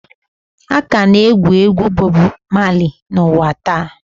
A ka na-egwu egwu Bobu Mali n'ụwa taa.